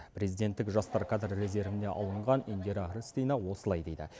президенттік жастар кадр резервіне алынған индира рыстина осылай дейді